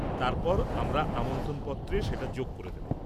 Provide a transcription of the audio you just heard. -তারপর আমরা আমন্ত্রণপত্রে সেটা যোগ করে দেব।